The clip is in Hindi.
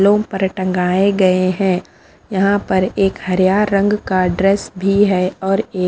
लोम पर टंगाए गए हैं यहाँ पर एक हरियार रंग का ड्रेस भी है और ए--